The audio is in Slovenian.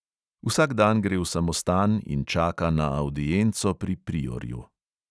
Vsak dan gre v samostan in čaka na avdienco pri priorju.